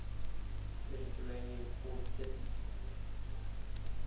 mediterranean port cities